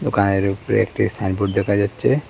দোকানের উপরে একটি সাইনবোর্ড দেখা যাচ্ছে।